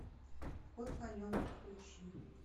ход конем подключи